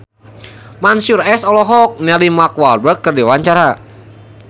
Mansyur S olohok ningali Mark Walberg keur diwawancara